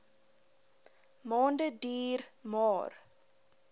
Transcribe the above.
maande duur maar